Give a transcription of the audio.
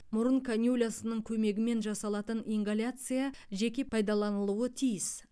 мұрын канюлясының көмегімен жасалатын ингаляция жеке пайдаланылуы тиіс